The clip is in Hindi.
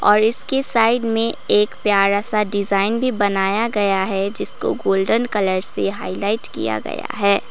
और इसके साइड में एक प्यारा सा डिजाइन भी बनाया गया है जिसको गोल्डन कलर से हाईलाइट किया गया है।